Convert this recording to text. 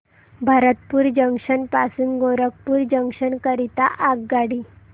Bharatpur junction पासून Gorakhpur junction करीता आगगाडी